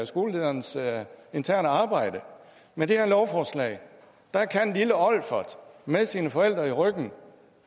skolelederens interne arbejde med det her lovforslag kan lille olfert med sine forældre i ryggen